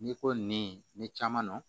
N'i ko nin caman na